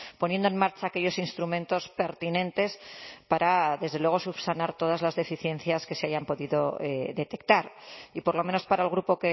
poniendo en marcha aquellos instrumentos pertinentes para desde luego subsanar todas las deficiencias que se hayan podido detectar y por lo menos para el grupo